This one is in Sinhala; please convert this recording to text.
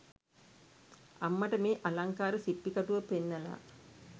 අම්මට මේ අලංකාර සිප්පි කටුව පෙන්නලා